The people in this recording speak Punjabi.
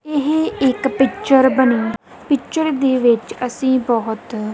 ਏਹ ਇੱਕ ਪਿਕਚਰ ਬਨੀ ਪਿਕਚਰ ਦੇ ਵਿੱਚ ਅੱਸੀ ਬੋਹਤ--